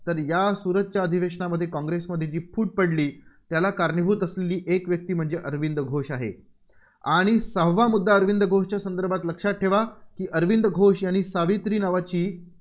तर या सूरतच्या अधिवशेनामध्ये काँग्रेसमध्ये जी फूट पडली, त्याला कारणीभूत असलेली एक व्यक्ती म्हणजे अरविंद घोष आहे. आणि सहावा मुद्दा अरविंद घोषच्या संदर्भात लक्षात ठेवा, की अरविंद घोष यांनी सावित्री नावाची